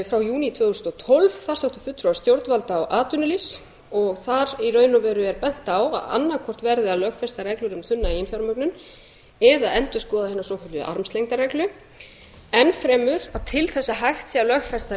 frá júní tvö þúsund og tólf þar sátu fulltrúar stjórnvalda og atvinnulífs og þar í raun og veru er bent á að annað hvort verði að lögfesta reglur um þunna eiginfjármögnun eða endurskoða hina svokölluðu armslengdarreglu enn fremur að til þess að hægt sé að lögfesta reglur